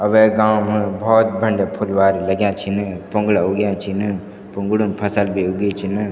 अ वेक गाँव म बहौत बंड्या फुलवारी लग्याँ छिन पुंगडा उग्याँ छिन पुंगडू म फसल भी उगीं छिन।